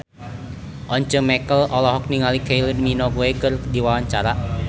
Once Mekel olohok ningali Kylie Minogue keur diwawancara